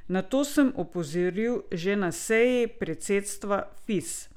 Na to sem opozoril že na seji predsedstva Fis.